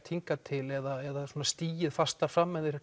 hingað til eða stigið fastar fram en þeir